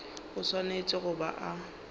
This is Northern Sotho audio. o swanetše go ba a